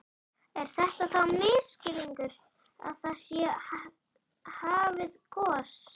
Er þetta þá misskilningur að það sé hafið gos?